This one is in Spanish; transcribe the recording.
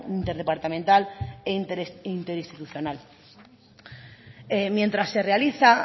interdepartamental e interinstitucional mientras se realiza